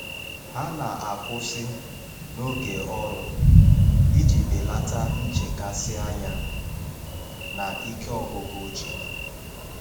Ha na-akwụsị n’oge ọrụ iji belata nchekasị anya na ike ọgwụgwụ uche.